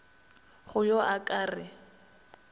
go yo a ka re